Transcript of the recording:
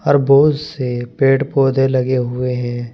और बहुत से पेड़ पौधे लगे हुए हैं।